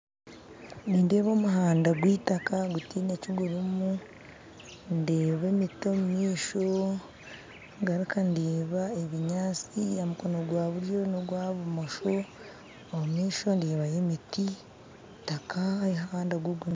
Nindeeba omuhanda gw'itaka gutaine kigurumu ndeeba emiti omumaisho ngaruka ndeeba ebinyaatsi ahamukono gwaburyo nogwa bumosho omumaisho ndeebayo emiti itaka